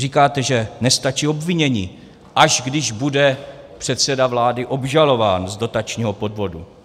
Říkáte, že nestačí obvinění, až když bude předseda vlády obžalován z dotačního podvodu.